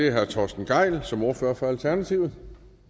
er herre torsten gejl som ordfører for alternativet